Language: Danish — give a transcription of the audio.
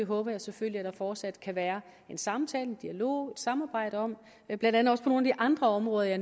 håber jeg selvfølgelig at der fortsat kan være en samtale en dialog et samarbejde om blandt andet også på nogle af de andre områder jeg